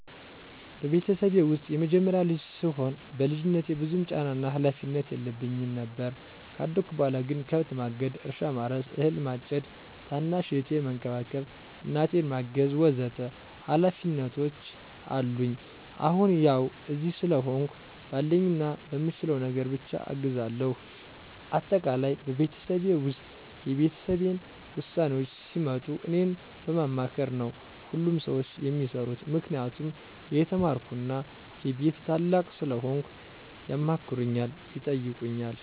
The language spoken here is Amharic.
በቤተሰቤ ውስጥ የመጀመሪያ ልጅ ስሆን በልጅነቴ ብዙም ጫናና ሀላፊነት የለብኝም ነበር። ካደኩ በኋላ ግን ከብት ማገድ፣ እርሻ ማረስ፣ አህል ማጨድ፣ ታናሽ እህቴን መንከባከብ፣ እናቴን ማገዝ ወ.ዘ.ተ ሀላፊነቶች አሉኝ። አሁን ያው እዚህ ስለሆንሁ ባለኝና በምችለው ነገር ብቻ አግዛለሁ። አጠቃላይ በቤተሰቤ ውስጥ የቤተሰቤን ውሳኔዎች ሲመጡ እኔን በማማከር ነው ሁሉም ሰዎች የሚሰሩት። ምክንያቱም የተማርኩና የቤቱ ታላቅ ስለሆንኩ ያማክሩኛል፣ ይጠይቁኛል።